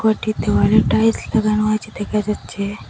ঘরটিতে অনেক টাইলস লাগানো আছে দেখা যাচ্ছে।